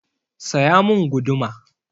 Saya mun guduma!